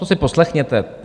To si poslechněte.